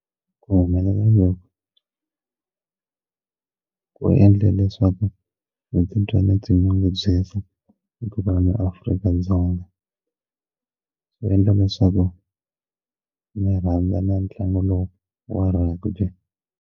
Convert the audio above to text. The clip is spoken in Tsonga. Ku humelela loku ku endla leswaku ndzi titwa ndzi ti nyungubyisa hikuva Afrika-Dzonga swo endla leswaku ndzi rhandza ntlangu lowu wa rugby.